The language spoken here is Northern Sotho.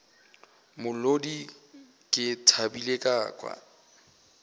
molodi ke thabile ka kwa